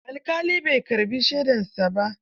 Alƙalin bai karɓi shaidarsa ba.